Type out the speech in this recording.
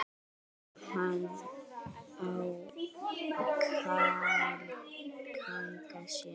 Og kann að bjarga sér.